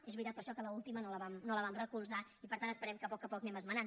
és veritat per això que l’última no la vam recolzar i per tant esperem que a poc a poc ho anem esmenant